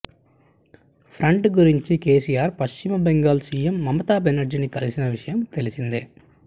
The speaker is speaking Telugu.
ఫ్రంట్ గురించి కేసీఆర్ పశ్చిమ బెంగాల్ సీఎం మమతా బెనర్జీని కలిసిన విషయం తెలిసిందే